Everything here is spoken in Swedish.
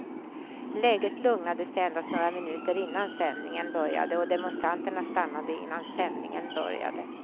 Läget lugnade sig endast några minuter innan sändningen började och demonstranterna stannade innan sändningen började.